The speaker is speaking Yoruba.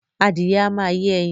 Adìyẹ a ma yé ẹyin